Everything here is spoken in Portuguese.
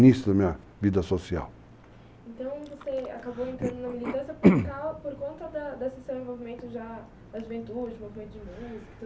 início da minha vida social. Então você acabou entrando na militância por causa, por conta da, desse seu envolvimento já na juventude, envolvimento de mundo.